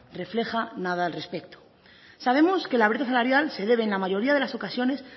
refleja nada al respecto sabemos que la brecha salarial se debe en la mayoría de las ocasiones